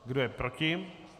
Kdo je proti?